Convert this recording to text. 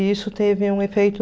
E isso teve um efeito...